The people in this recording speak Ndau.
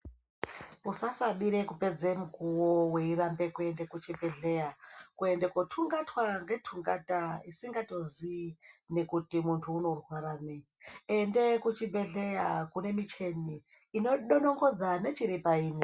Usasabire kupedza mukuwo weirambe kuenda kuchibhedhlera kuende kotungatwa netungata isingatozii kuti muntu unorwara nei ende kuchibhedhlera kune micheni inodonongodza nechiri painyi.